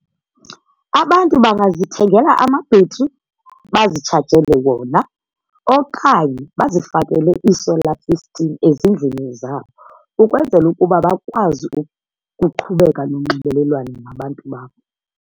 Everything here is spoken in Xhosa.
Abantu bangazithengela amabhetri bazitshajele wona okanye bazifakele ii-solar system ezindlini zabo ukwenzela ukuba bakwazi ukuqhubeka nonxibelelwano nabantu babo.